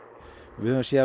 við höfum séð